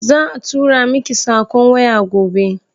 Za a tura miki sakon waya gobe.